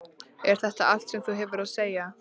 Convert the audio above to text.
Er þetta allt sem þú hefur að segja?